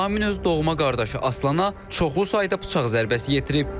Amin öz doğma qardaşı Aslana çoxlu sayda bıçaq zərbəsi yetirib.